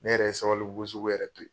Ne yɛrɛ ye Sabalibugu sugu yɛrɛ to yen.